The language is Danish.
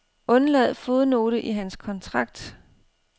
Undlad fodnote i hans kontrakt.